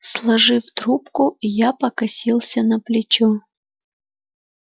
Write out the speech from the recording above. сложив трубку я покосился на плечо